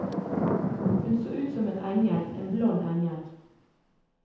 Hun så ut som en engel, en blond engel.